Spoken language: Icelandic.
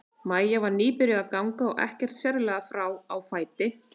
Maja var nýbyrjuð að ganga og ekkert sérlega frá á fæti.